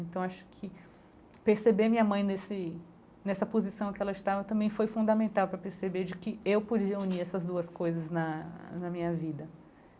Então, acho que perceber minha mãe nesse nessa posição que ela estava também foi fundamental para perceber de que eu podia unir essas duas coisas na na minha vida.